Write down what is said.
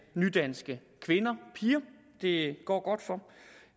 nydanske kvinder og piger det går godt for